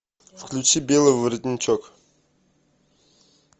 включи белый воротничок